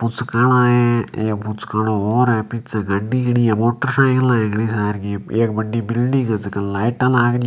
पुचका आला ही एक पुचका आलो और है पीछे गाड़ी खड़ी है मोटरसाइकिला ही है घनी सार की एक बढ़ी बिल्डिंग है जका के लाईटा लाग रही --